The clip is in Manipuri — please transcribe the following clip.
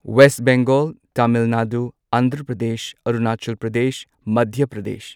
ꯋꯦꯁ ꯕꯦꯡꯒꯣꯜ ꯇꯥꯃꯤꯜ ꯅꯥꯗꯨ ꯑꯟꯙ꯭ꯔ ꯄ꯭ꯔꯗꯦꯁ ꯑꯔꯨꯅꯥꯆꯜ ꯄ꯭ꯔꯗꯦꯁ ꯃꯙ꯭ꯌ ꯄ꯭ꯔꯗꯦꯁ